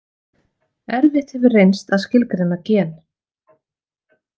Erfitt hefur reynst að skilgreina Gen.